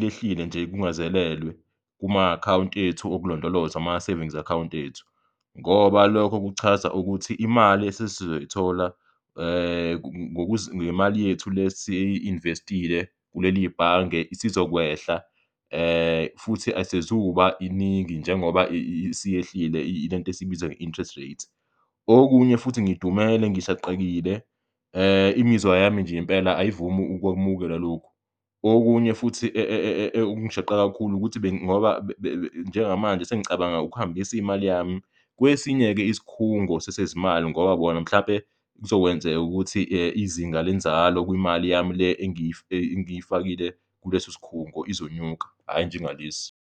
lehlile nje kungazelelwe kuma-account ethu okulondoloza ama-savings account ethu, ngoba lokho kuchaza ukuthi imali esesizoyithola ngemali yethu lesi-invest-ile kuleli bhange isizokwehla futhi asezukuba iningi njengoba isiyehlile lento esiyibiza nge-interest rates. Okunye futhi ngidumele ngishaqekile imizwa yami nje impela ayivumi ukwamukela lokhu. Okunye futhi okungishaqa kakhulu ukuthi njengamanje sengicabanga ukuhambis'imali yami kwesinye-ke isikhungo sesezimali ngoba bona mhlampe kuzokwenzeka ukuthi izinga lenzalo kwimali yami le engiyifakile kulesikhungo izonyuka hhayi njengalesi.